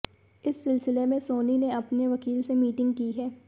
इस सिलसिले में सोनी ने अपने वकील से मीटिंग की है